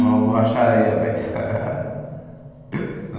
Numa borracharia, velho.